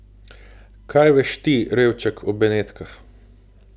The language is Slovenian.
Kaj veš ti, revček, o Benetkah?